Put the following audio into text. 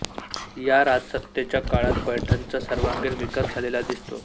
या राजसत्तेच्या काळात पैठणचा सर्वांगीण विकास झालेला दिसतो